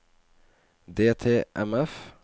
DTMF